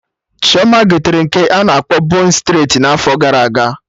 Chioma gotere nke a na-akpọ bon streti n'afọ gara aga